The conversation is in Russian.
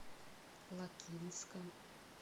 лакинском